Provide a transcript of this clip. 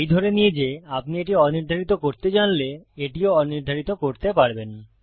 এই ধরে নিয়ে যে আপনি এটি অনির্ধারিত করতে জানলে এটিও অনির্ধারিত করতে পারবেন